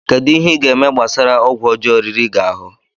Kedu ihe ị ga-eme gbasara ọgwụ ọjọọ riri gị ahụ?